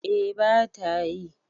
eh ba ta yi